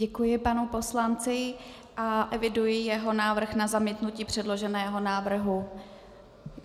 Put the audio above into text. Děkuji panu poslanci a eviduji jeho návrh na zamítnutí předloženého návrhu.